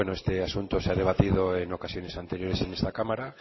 este asunto se ha debatido en ocasiones anteriores en esta cámara